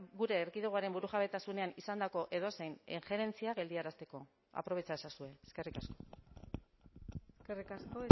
gure erkidegoaren burujabetasunean izandako edozein injerentzia geldiarazteko aprobetxa ezazue eskerrik asko eskerrik asko